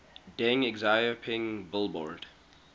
deng xiaoping billboard